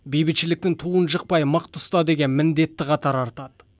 бейбітшіліктің туын жықпай мықты ұста деген міндетті қатар артады